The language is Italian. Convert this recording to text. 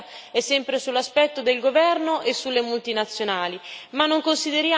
Però l'attenzione mediatica è sempre sull'aspetto del governo e sulle multinazionali.